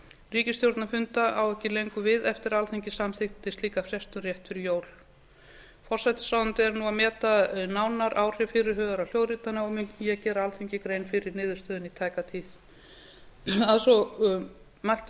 ríkisstjórnarfunda á ekki lengur við eftir að alþingi samþykkti slíka frestun rétt fyrir jól forsætisráðuneytið er nú að meta nánar áhrif fyrirhugaðrar hljóðritana og mun ég gera alþingi grein fyrir niðurstöðunni í tæka tíð að svo mæltu legg